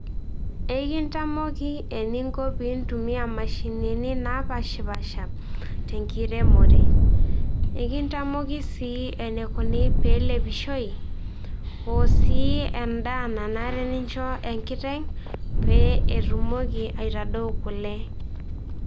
Ekintamoki eninko pintumia imashinini napashipasha, tenkiremore. Ekintamoki si enikuni tenelepishoi, osii endaa nanare nincho enkiteng',pe etumoki aitadau kule.